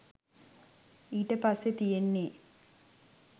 ඊට පස්සේ තියෙන්නේ